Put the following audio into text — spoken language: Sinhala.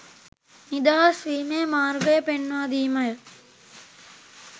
නිදහස් වීමේ මාර්ගය පෙන්වාදීමය.